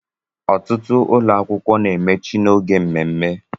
Ọtụtụ ụlọ akwụkwọ na-emechi n'oge mmemme